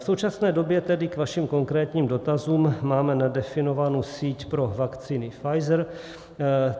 V současné době, tedy k vašim konkrétním dotazům, máme nadefinovánu síť pro vakcíny Pfizer.